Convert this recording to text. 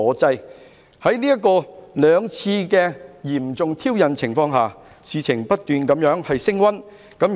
在林議員作出兩次嚴重挑釁舉動的情況下，事件不斷升溫。